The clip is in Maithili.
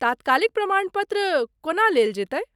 तात्कालिक प्रमाण पत्र कोना लेल जेतै ?